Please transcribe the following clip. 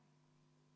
Kalle Grünthal, palun!